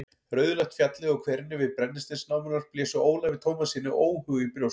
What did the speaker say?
Rauðleitt fjallið og hverirnir við brennisteinsnámurnar blésu Ólafi Tómassyni óhug í brjóst.